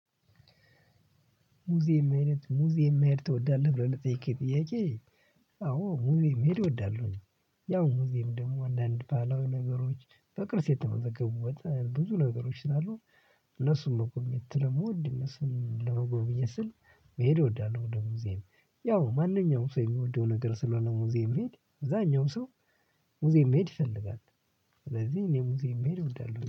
ሙዚየም አይነት ሙዚየም አይነት ትወዳለህ ብለህ ልትጠይቂ ጥያቄ? አዎ ሙዚየም አይነት እወዳለሁኝ። ያው ሙዚየም ደግሞ አንዳንድ ባለው ነገሮች በቅርስ የተመዘገቡበት ብዙ ነገሮች ስላሉ። እነሱን ነው ቁም የት ለመወድ እነሱን ለመጎብዬ ስል መሄድ እወዳለሁ ወደ ሙዚየም። ያው ማንኛውም ሰው የሚወደው ነገር ስለሆነ ሙዚየም መሄድ እዛኛው ሰው ሙዚየም መሄድ ይፈልጋል። ስለዚህ እኔ ሙዚቃ የምሄደው እንዳለ